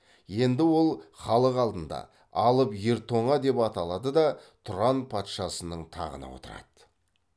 енді ол халық алдында алып ер тоңа деп аталады да тұран патшасының тағына отырады